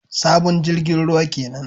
Sabon jirgin ruwa kenan